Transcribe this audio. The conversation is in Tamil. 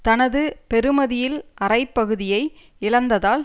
தனது பெறுமதியில் அரைப்குதியை இழந்ததால்